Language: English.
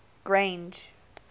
grange